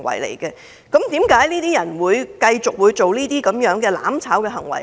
為何這些人會繼續這些"攬炒"行為？